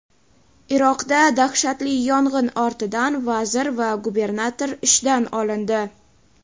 Iroqda dahshatli yong‘in ortidan vazir va gubernator ishdan olindi.